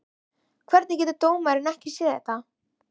Hvernig getur dómarinn ekki séð þetta?